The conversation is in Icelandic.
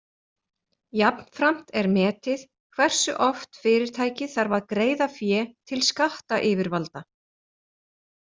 Jafnframt er metið hversu oft fyrirtækið þarf að greiða fé til skattayfirvalda.